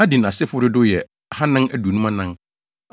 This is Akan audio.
Adin asefo dodow yɛ 2 454 1